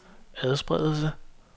adspredelse